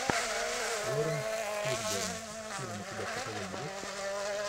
лоуренс фишборн фильм у тебя в каталоге есть